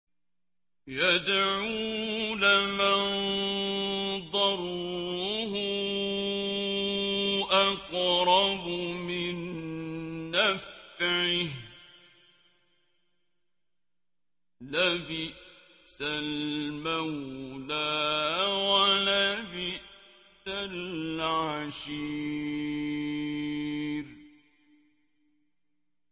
يَدْعُو لَمَن ضَرُّهُ أَقْرَبُ مِن نَّفْعِهِ ۚ لَبِئْسَ الْمَوْلَىٰ وَلَبِئْسَ الْعَشِيرُ